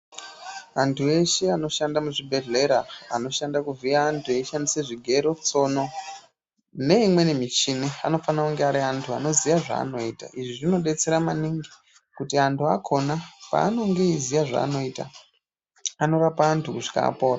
Antu eshe anoshanda muzvibhedhleya anoshanda kuvhiya antu eishandise zvigero tsono neimweni michini anona kunge ari antu anoziya zvaanoita izvi zvinodetsera maningi kuti antu akhona paanenge eiziye zvaanoita anorapa antu kusvika apona.